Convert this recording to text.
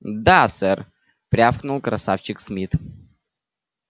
да сэр рявкнул красавчик смит